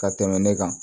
Ka tɛmɛ ne kan